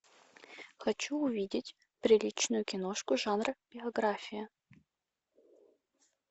хочу увидеть приличную киношку жанра биография